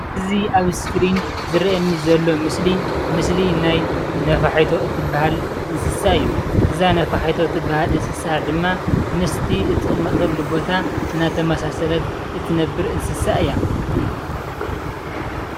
እዚ አብ እስክሪን ዝረአየኒ ዘሎ ምስሊ ምስሊ ናይ ነፋሒቶ እትበሃል እንስሳ እዩ። እዛ ነፋሒቶ ትበሃል እንስሳ ድማ ምስቲ እቲቅመጠሉ ቦታ እናተማሳሰለት እትነብር እንስሳ እያ።